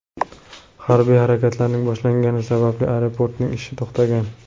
Harbiy harakatlarning boshlangani sababli aeroportning ishi to‘xtagan.